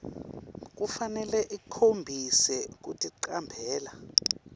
kufanele ikhombise kuticambela